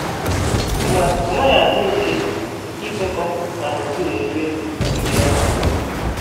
Ma ọ naghị adị mfe ikwekọ na gburugburu ebe obibi ọhụrụ.